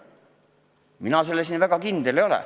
Mina selles väga kindel ei ole.